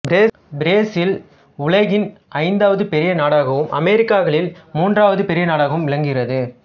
Brazil உலகின் ஐந்தாவது பெரிய நாடாகவும் அமெரிக்காக்களில் மூன்றாவது பெரிய நாடாகவும் விளங்குகிறது